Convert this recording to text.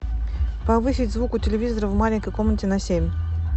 повысить звук у телевизора в маленькой комнате на семь